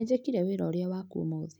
Nĩnjĩkire wĩra ũrĩa waku ũmũthĩ